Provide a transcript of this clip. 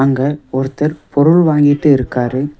அங்க ஒருத்தர் பொருள் வாங்கிட்டு இருக்காரு.